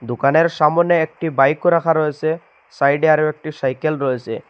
দোকানের সামনে একটি বাইকও রাখা রয়েছে সাইডে আরো একটি সাইকেল রয়েছে।